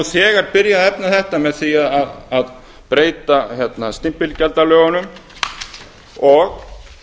þegar byrjað að efna þetta með því að breyta stimpilgjaldalögunum og